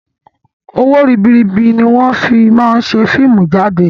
Owó ribiribi ni wọn fii máa ń ṣe fíìmù jáde